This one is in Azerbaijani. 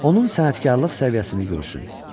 Onun sənətkarlıq səviyyəsini görsün.